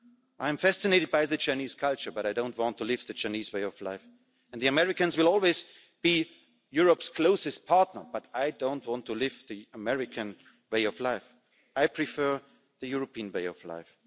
I'm fascinated by the Chinese culture but I don't want to live the Chinese way of life, and the Americans will always be Europe's closest partner but I don't want to live the American way of life. I prefer the European way of life.